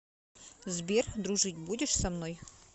сбер дружить будешь со мной